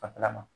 Fanfɛla ma